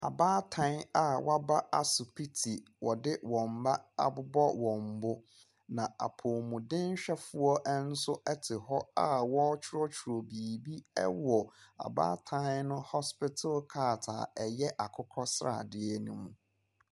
Abaatan a wɔaba asupiti wɔde wɔ mmaa abobɔ wɔn bo. Na apomudenhwɛsofoɔ nso te hɔ a ɔrekyerɛwkyerɛ biribi ɛwɔ abaan no hospitil card a ɛyɛ akokɔsradeɛ no mu.